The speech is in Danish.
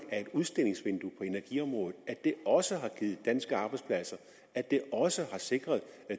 er et udstillingsvindue på energiområdet at det også har givet danske arbejdspladser og at det også har sikret